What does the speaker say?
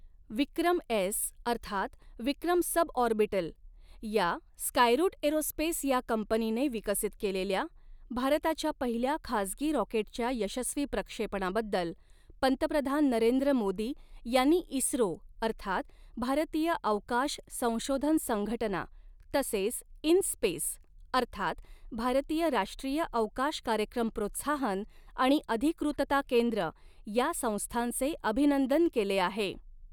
विक्रम S अर्थात Vikram suborbital या, स्कायरूट एरोस्पेस या कंपनीने विकसित केलेल्या, भारताच्या पहिल्या खासगी रॉकेटच्या यशस्वी प्रक्षेपणाबद्दल, पंतप्रधान नरेंद्र मोदी यांनी इस्रो, अर्थात भारतीय अवकाश संशोधन संघटना तसेच इन स्पेस अर्थात भारतीय राष्ट्रीय अवकाश कार्यक्रम प्रोत्साहन आणि अधिकृतता केंद्र या संस्थांचे अभिनंदन केले आहे.